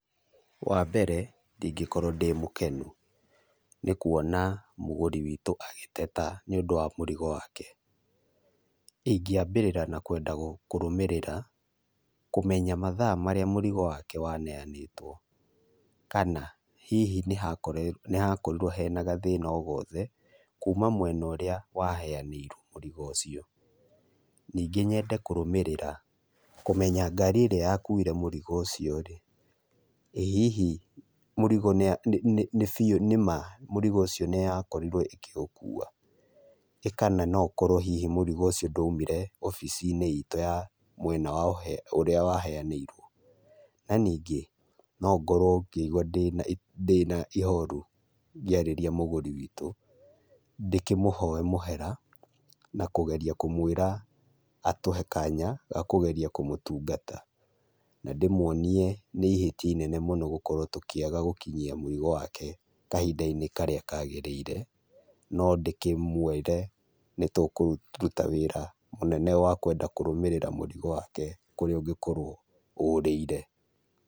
Wambere ndingĩkorwo ndĩ mũkenu, nĩkuona mũgũri witũ agĩteta nĩũndũ wa mũrigo wake. Ingĩambĩrĩra na kwenda kũrũmĩrĩra kũmenya mathaa marĩa mũrigo wake waneanĩtwo, kana hihi nĩhakorirwo hena gathĩna o gothe kuma mwena ũrĩa waheanĩirwo mũrigo ũcio. Ningĩ nyende kũrũmĩrĩra kũmenya ngari ĩrĩa yakuire mũrigo ũcio-rĩ, ĩ hihi mũrigo nĩ biũ nĩma mũrigo ũcio nĩyakorirwo ĩkĩũkua. Ĩ kana nĩma mũrigo ũcio ndaumire obici-inĩ itũ ya mwena wa ũrĩa waheanĩirwo. Na ningĩ no ngorwo ngĩigu ndĩna ihoru ngĩarĩria mũgũri witũ ndĩkĩmũhoe mũhera, na kũgeria kũmwĩra atũhe kanya ga kũgeria kũmũtungata. Na, ndĩmuonie nĩ ihĩtia inene mũno gũkorwo tũkĩaga gũinyia mũrigo wake kahinda-inĩ karĩa kagĩrĩire, no ndĩkĩmwĩre nĩtũkũruta wĩra mũnene wa kwenda kũrũmĩrĩra mũrigo wake kũrĩa ũngĩkorwo ũrĩire.